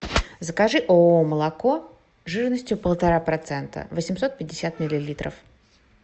закажи ооо молоко жирностью полтора процента восемьсот пятьдесят миллилитров